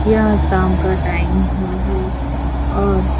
यह शाम का टाइम हुआ है और --